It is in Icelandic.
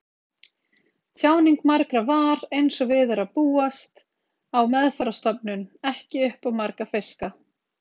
Tjáning margra var, einsog við er að búast á meðferðarstofnun, ekki upp á marga fiska.